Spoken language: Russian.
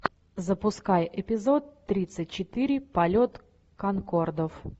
запускай эпизод тридцать четыре полет конкордов